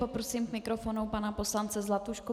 Poprosím k mikrofonu pana poslance Zlatušku.